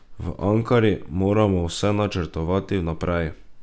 V Ankari moramo vse načrtovati vnaprej.